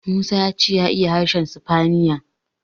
Musa ya ce ya iya harshen sifaniya.